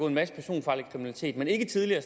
en masse personfarlig kriminalitet men ikke tidligere